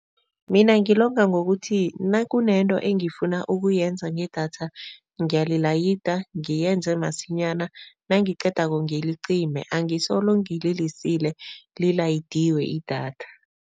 Mina ngilonga ngokuthi nakunento engifuna ukuyenza ngedatha ngiyalayida ngiyenze masinyana, nangiqedako ngilicime angisolo ngilisile lilayidiwe idatha.